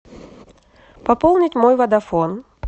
пополнить мой водафон